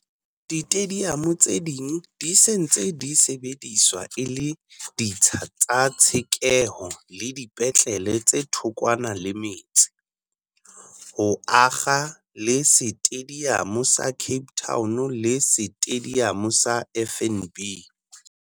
Ditediamo tse ding di se ntse di sebediswa e le ditsha tsa tshekeho le dipetlele tse thokwana le metse, ho akga le Setediamo sa Cape Town le Setediamo sa FNB.